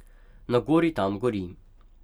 Na gori tam gori.